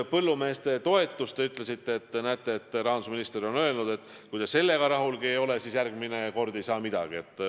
Põllumeeste toetusest veel nii palju, et teie sõnul on rahandusminister öelnud, et kui te sellega rahul ei ole, siis järgmine kord ei saa midagi.